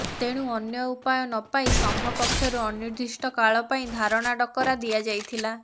ତେଣୁ ଅନ୍ୟ ଉପାୟ ନପାଇ ସଂଘ ପକ୍ଷରୁ ଅନିର୍ଦ୍ଦିଷ୍ଟ କାଳ ପାଇଁ ଧାରଣା ଡାକରା ଦିଆଯାଇଥିଲା